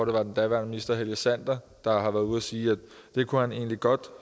det var den daværende minister helge sander der var ude at sige at det kunne han egentlig godt